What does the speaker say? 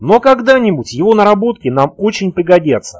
ну когда-нибудь его наработки нам очень пригодятся